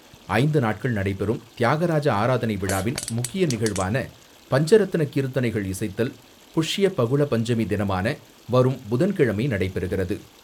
ஐந்து நாட்கள் நடைபெறும் தியாகராஜ ஆராதனை விழாவின் முக்கிய நிகழ்வான பஞ்சரத்ன கீர்த்தனைகள் இசைத்தல், புஷ்ய பகுள பஞ்சமி தினமான வரும் புதன்கிழமை நடைபெறுகிறது.